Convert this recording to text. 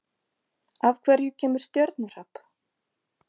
Af hverju kemur stjörnuhrap?